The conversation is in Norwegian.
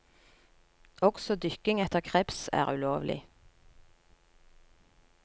Også dykking etter kreps er ulovlig.